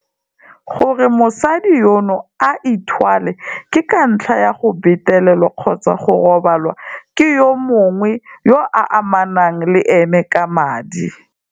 Gore mosadi yono a ithwale ke ka ntlha ya go betelelwa kgotsa go robalwa ke yo mongwe yo a amanang le ene ka madi.